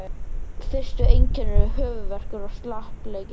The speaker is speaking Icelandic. Fyrstu einkennin eru höfuðverkur og slappleiki.